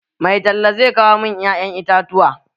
Mai talla zai kawo mun ƴa'yan itatuwa.